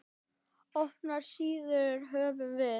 Opnar síður höfum við.